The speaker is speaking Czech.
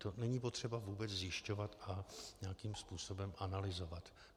To není potřeba vůbec zjišťovat a nějakým způsobem analyzovat.